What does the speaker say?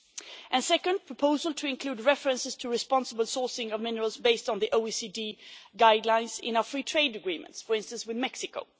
Secondly, there are proposals to include references to responsible sourcing of minerals based on the OECD guidelines in our free trade agreements, for instance with Mexico.